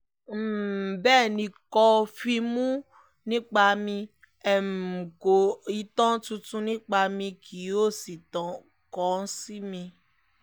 um bẹ́ẹ̀ ni kò fíìmù nípa mi um kọ ìtàn tuntun nípa mi kí ó sì kàn sí mi